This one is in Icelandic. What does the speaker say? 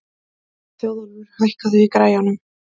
Þjóðólfur, hækkaðu í græjunum.